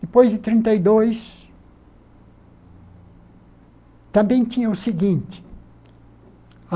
Depois de trinta e dois, também tinha o seguinte.